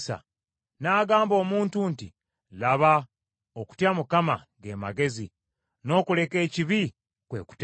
N’agamba omuntu nti, ‘Laba, okutya Mukama, ge magezi, n’okuleka ekibi, kwe kutegeera.’ ”